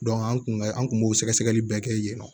an kun ka an kun b'o sɛgɛsɛgɛli bɛɛ kɛ yen nɔ